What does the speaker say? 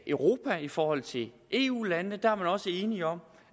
europa i forhold til eu landene der er man også enige om